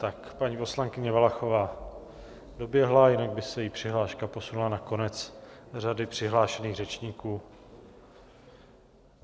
Tak, paní poslankyně Valachová doběhla, jinak by se jí přihláška posunula na konec řady přihlášených řečníků.